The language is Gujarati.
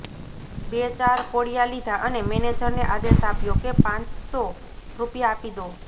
બે ચાર કોળિયા લીધા અને મેનેજરને આદેશ આપ્યો કે પાંચસો રૃપિયા આપી દો